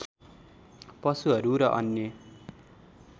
पशुहरू र अन्य